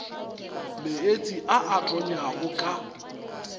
meetse a a tonyago ka